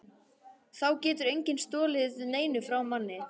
Þá getur enginn stolið neinu frá manni.